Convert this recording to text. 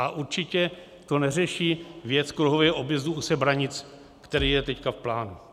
A určitě to neřeší věc kruhového objezdu u Sebranic, který je teď v plánu.